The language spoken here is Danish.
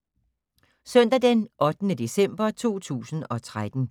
Søndag d. 8. december 2013